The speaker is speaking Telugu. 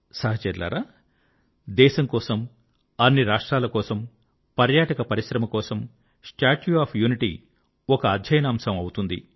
సహచరులారా దేశం కోసం అన్ని రాష్ట్రాల కోసం పర్యాటక పరిశ్రమ కోసం స్టాట్యూ ఆఫ్ యూనిటీ ఒక అధ్యయనాంశం అవుతుంది